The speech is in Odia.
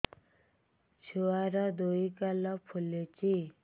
ଛୁଆର୍ ଦୁଇ ଗାଲ ଫୁଲିଚି